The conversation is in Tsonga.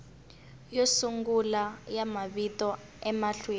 yo sungula ya mavito emahlweni